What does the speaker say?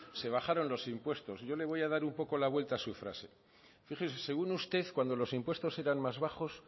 se bajaron los impuestos yo le voy a dar un poco la vuelta a su frase fíjese según usted cuando los impuestos eran más bajos